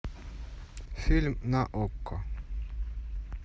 фильм на окко